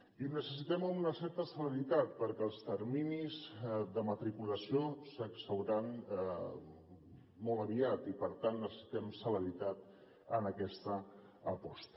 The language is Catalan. i ho necessitem amb una certa celeritat perquè els terminis de matriculació s’exhauriran molt aviat i per tant necessitem celeritat en aquesta aposta